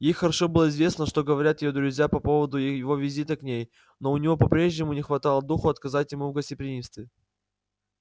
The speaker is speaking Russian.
ей хорошо было известно что говорят её друзья по поводу его визитов к ней но у нее по-прежнему не хватало духу отказать ему в гостеприимстве